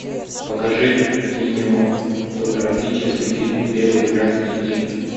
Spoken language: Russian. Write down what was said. покажи кинематографический фильм белый красный и